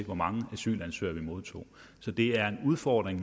hvor mange asylansøgere vi modtog så det er en udfordring